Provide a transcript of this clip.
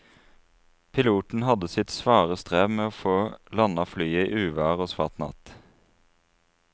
Piloten hadde sitt svare strev med å få landet flyet i uvær og svart natt.